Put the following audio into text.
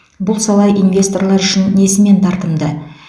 бұл сала инвесторлар үшін несімен тартымды